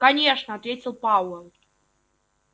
конечно ответил пауэлл